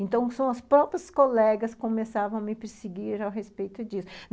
Então, são as próprias colegas que começavam a me perseguir ao respeito disso.